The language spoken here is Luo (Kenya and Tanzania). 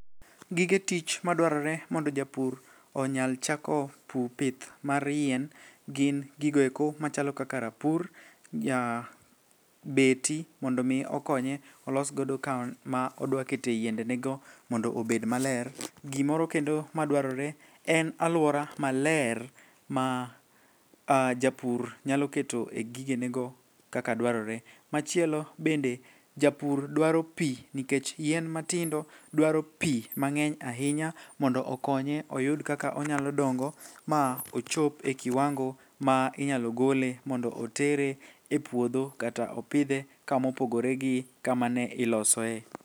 Gige tich madwarore mondo japur onyal chako pith mar yien gin gigoeko machalo kaka rapur, beti mondo omi okonye olosgodo kama odwakete yiendenego mondo obed maler. Gimoro kendo madwarore en alwora maler ma japur nyalo keto e gigenego kaka dwarore. machielo bende japur dwaro pi nikech yien matindo dwaro pi mang'eny ahinya mondo okonye oyud kaka onyalo dongo ma ochop e kiwango ma inyalo gole mondo otere e puodho kata opidhe kamopogore gi kama ne ilosoe.